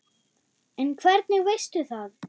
En hvernig veistu það?